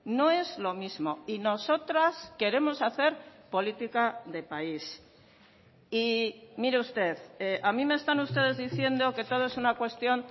no es lo mismo y nosotras queremos hacer política de país y mire usted a mí me están ustedes diciendo que todo es una cuestión